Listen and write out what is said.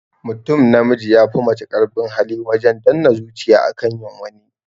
Mutum namiji ya fi mace karfin hali wajen danne zuciya akan yin wani